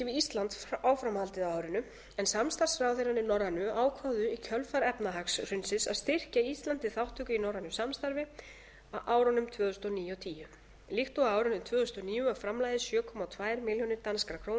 ísland áframhaldið á árinu en samstarfsráðherrarnir norrænu ákváðu í kjölfar efnahagshrunsins að styrkja ísland til þátttöku í norrænu samstarfi á árunum tvö þúsund og níu og tvö þúsund og tíu líkt og á árinu tvö þúsund og níu var framlagið sjö komma tvær milljónir danskar krónur